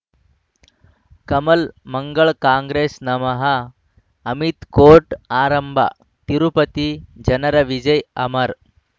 ಕಮಲ್ ಮಂಗಳ್ ಕಾಂಗ್ರೆಸ್ ನಮಃ ಅಮಿತ್ ಕೋರ್ಟ್ ಆರಂಭ ತಿರುಪತಿ ಜನರ ವಿಜಯ ಅಮರ್